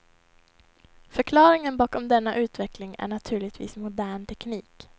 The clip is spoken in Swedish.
Förklaringen bakom denna utveckling är naturligtvis modern teknik.